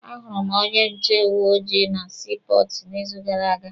A hụrụ m onye nche uwe ojii na sii pọọtụ n'izu gara aga.